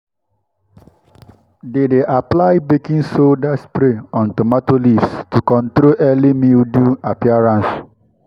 they dey apply baking soda spray on tomato leaves to control early mildew appearance.